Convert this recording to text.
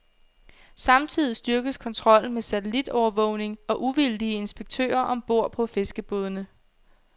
Samtidig styrkes kontrollen med satellitovervågning og uvildige inspektører om bord på fiskerbådene.